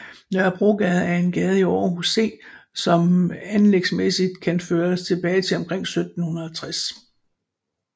Nørrebrogade er en gade i Aarhus C som anlægsmæssigt kan føres tilbage til omkring 1760